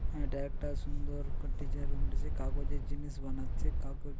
এটা একটা সুন্দর যে কাগজের জিনিস বানাচ্ছে কাগজ--